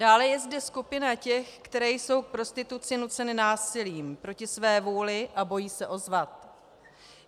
Dále je zde skupina těch, které jsou k prostituci nuceny násilím, proti své vůli a bojí se ozvat.